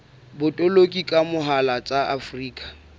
botoloki ka mohala tsa afrika